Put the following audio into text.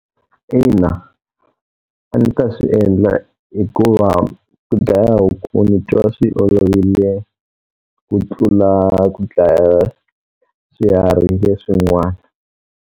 Ina. A ndzi ta swi endla hikuva ku dlaya huku ni twa swi olovile ku tlula ku dlaya swiharhi leswi n'wana.